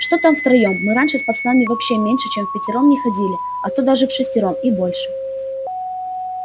что там втроём мы раньше с пацанами вообще меньше чем впятером не ходили а то даже вшестером и больше